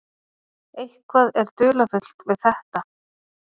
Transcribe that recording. Eitthvað er dularfullt við þetta.